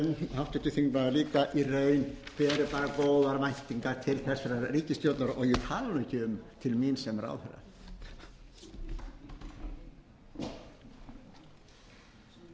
háttvirtur þingmaður líka í raun beri þar góðar væntingar til þessarar ríkisstjórnar og ég tala nú ekki um til mín sem ráðherra